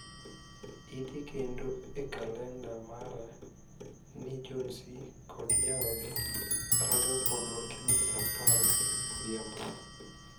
Idhi kendo e kalenda mara ni John C.kod jaode rado kodwa kiny saa apar odhiambo